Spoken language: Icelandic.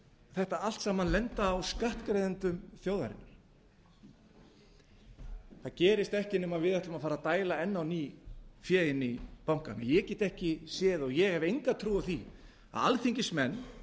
þetta allt saman lenda á skattgreiðendum þjóðarinnar það gerist ekki nema við ætlum að fara að dæla enn á ný fé inn í bankana ég get ekki séð og ég hef enga trú á því að alþingismenn